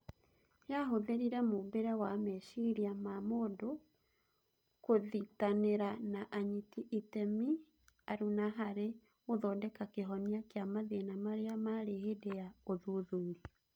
Yahũthĩrire mũmbĩre wa meciria ma mũndũ kũthitanĩra na anyiti iteme aruna harĩ gũthondeka kĩhonia kĩa mathĩna marĩa marĩ hĩndĩ ya ũthuthuria.